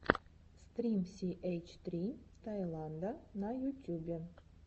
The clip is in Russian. стрим си эйч три таиланда на ютюбе